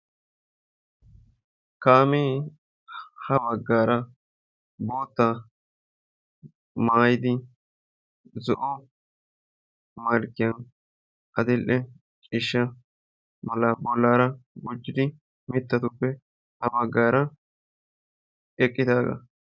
Kaamee ha baggaara boottaa maayidi zo"o malkkiyan adil"e ciisha malaa bollaara gujidi mittatupe ha baggaara eqqidaaga.